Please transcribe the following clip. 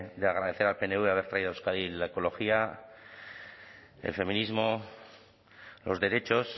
de agradecer al pnv haber traído a euskadi la ecología el feminismo los derechos